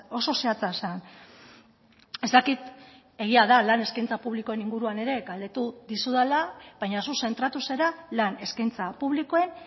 oso zehatza zen ez dakit egia da lan eskaintza publikoen inguruan ere galdetu dizudala baina zu zentratu zara lan eskaintza publikoen